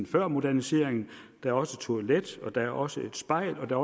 før moderniseringen der er også toilet og der er også et spejl og der